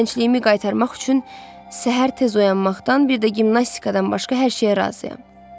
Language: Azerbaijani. Gəncliyimi qaytarmaq üçün səhər tez oyanmaqdan, bir də gimnastikadan başqa hər şeyə razıyam.